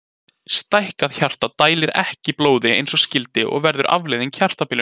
Stækkað hjarta dælir ekki blóði eins og skyldi og verður afleiðingin hjartabilun.